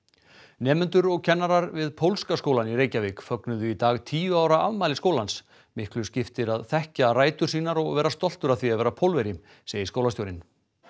nemendur og kennarar við pólska skólann í Reykjavík fögnuðu í dag tíu ára afmæli skólans miklu skiptir að þekkja rætur sínar og vera stoltur af því að vera Pólverji segir skólastjórinn